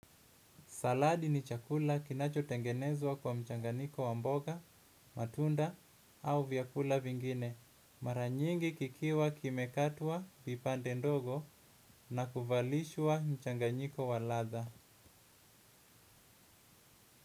Saladi ni chakula kinacho tengenezwa kwa mchanganiko wa mboga, matunda au vyakula vingine. Maranyingi kikiwa kimekatwa vipande ndogo na kuvalishwa mchanganyiko wa ladha.